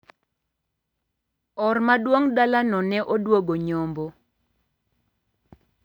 Or maduong` dalano ne odwogo nyombo.